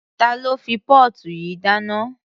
Ta ló fi póòtù yìí dáná?